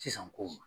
Sisan ko